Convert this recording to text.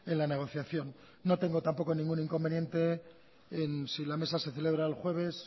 la negociación no tengo tampoco ningún inconveniente en si la mesa se celebra el jueves